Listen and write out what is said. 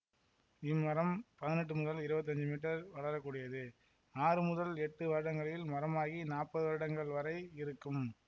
இம்மரம் பதினெட்டு முதல் இருவத்தஞ்சு மீட்டர் வளரக்கூடியது ஆறு முதல் எட்டு வருடங்களில் மரமாகி நாப்பது வருடங்கள் வரை இருக்கும்